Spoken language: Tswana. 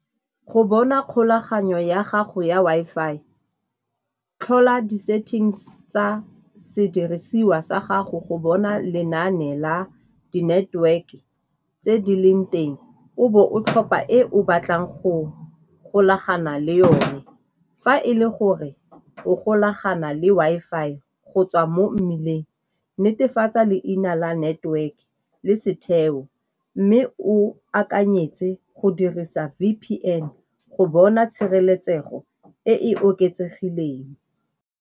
Go bona kgolaganyo ya gago ya Wi-Fi tlhola di-settings tsa sedirisiwa sa gago go bona lenaane la di-network-e tse di leng teng, o bo o tlhopha ko o batlang go golagana le yone. Fa e le gore o golagana le Wi-Fi go tswa mo mmileng, netefatsa leina la network-e le setheo mme o akanyetse go dirisa V_P_N go bona tshireletsego e e oketsegileng.